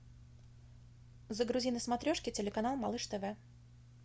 загрузи на смотрешке телеканал малыш тв